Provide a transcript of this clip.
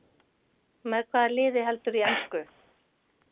Með hvaða liði heldurðu í ensku?